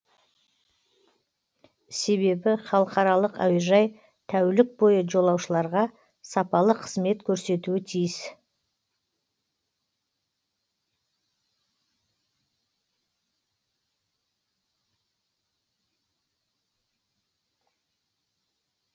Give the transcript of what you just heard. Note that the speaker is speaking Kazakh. себебі халықаралық әуежай тәулік бойы жолаушыларға сапалы қызмет көрсетуі тиіс